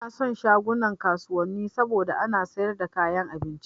Ina son shagunan kasuwanni saboda ana sayar da kayan abinci